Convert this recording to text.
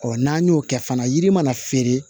n'an y'o kɛ fana yiri mana feere